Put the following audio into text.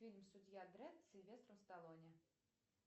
фильм судья дредд с сильвестром сталлоне